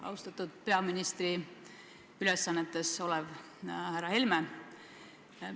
Austatud peaministri ülesannetes olev härra Helme!